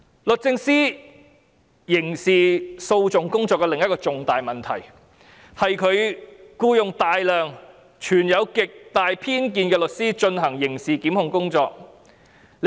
律政司刑事訴訟工作的另一個重大問題，是僱用大量存有極大偏見的律師進行刑事檢控工作。